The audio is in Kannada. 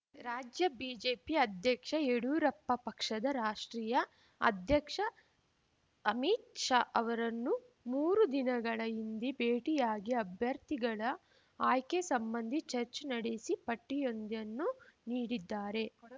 ರಾಜ್ಯ ಬಿಜೆಪಿ ಅಧ್ಯಕ್ಷ ಯಡಿಯೂರಪ್ಪ ಪಕ್ಷದ ರಾಷ್ಟ್ರೀಯ ಅಧ್ಯಕ್ಷ ಅಮಿತ್ ಶಾ ಅವರನ್ನು ಮೂರು ದಿನಗಳ ಹಿಂದೆ ಭೇಟಿಯಾಗಿ ಅಭ್ಯರ್ಥಿಗಳ ಆಯ್ಕೆ ಸಂಬಂದಿ ಚರ್ಚೆ ನಡೆಸಿ ಪಟ್ಟಿಯೊಂದನ್ನು ನೀಡಿದ್ದಾರೆ